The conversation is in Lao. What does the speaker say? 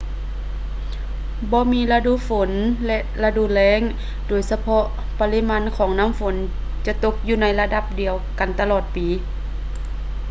ບໍ່ມີລະດູ ຝົນ ແລະ ລະດູ ແລ້ງ ໂດຍສະເພາະ ປະລິມານຂອງນໍ້າຝົນຈະຕົກຢູ່ໃນລະດັບດຽວກັນຕະຫຼອດປີ